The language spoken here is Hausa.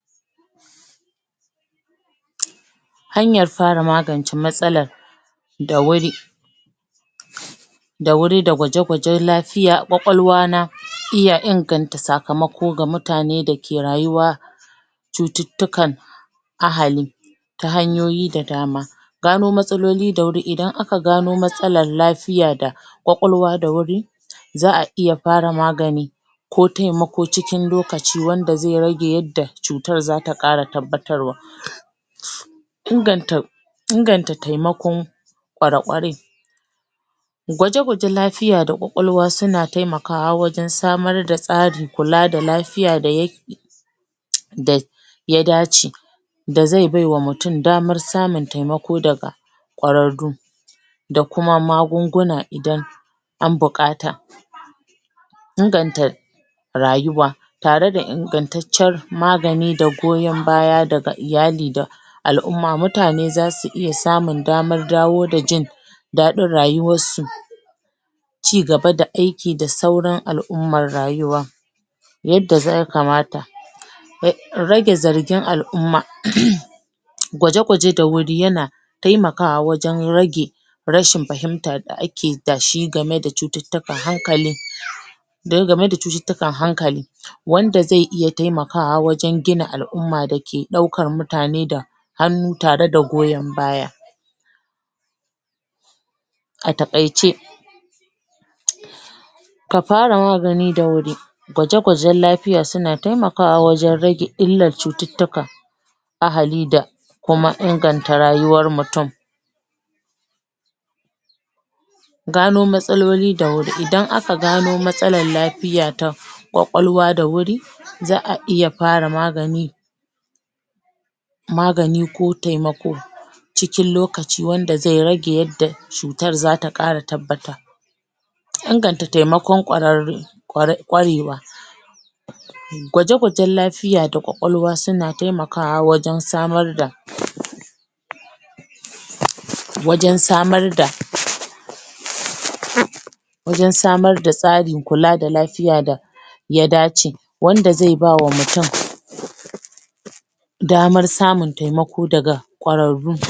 hanyar fara magance matsalar da wuri da wuri da gwaje-gwajen lafiya a ƙwaƙwalwa na iya inganta sakamako ga mutane dake rayuwa cututtukan ahali ta hanyoyi da dama gano matsaloli da wuri, idan aka gano matsalar lafiya da ƙwaƙwalwa da wuri za'a iya fara magani ko temako cikin lokaci wanda ze rage yanda cutar zata ƙara tabbatarwa inganta inganta temakon ƙware-ƙware gwaje-gwajen lafiya da ƙwaƙwalwa suna temakawa wajen samar da tsarin kula da lafiya da yake da ya dace da ze bai wa mutum damar samun temako daga ƙwararru da kuma magunguna idan an buƙata inganta rayuwa tare da ingantaccar magani da goyon baya daga iyali da al'umma mutane zasu iya samun damar dawo da jin daɗin rayuwar su ci gaba da aiki da sauran al'ummar rayuwa yadda ze kamata rage zargin al'umma gwaje-gwaje da wuri yana temakawa wajen rage rashin fahimta da ake da shi game da cututtukan hankali wanda ze iya temakawa wajen gina al'umma dake ɗaukar mutane da hannu tare da goyon baya a taƙaice ka fara magani da wuri gwaje-gwajen lafiya suna temakawa wajen rage illar cututtuka ahali da kuma inganta rayuwar mutum gano matsaloli da wuri idan aka gano matsalar lafiya to ƙwaƙwalwa da wuri za'a iya fara magani magani ko temako cikin lokaci wanda ze rage yanda cutar zata ƙara tabbata inganta temako ƙwararre ƙwarewa gwaje-gwajen lafiya da ƙwaƙwalwa suna temakawa wajen samar da wajen samar da wajen samar da tsarin kula da lafiya da ya dace wanda ze ba wa mutum damar samun temako daga ƙwararru